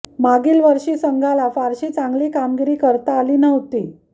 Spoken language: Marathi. मागील वर्षी संघाला फारशी चांगली कामगिरी करता आली नव्हती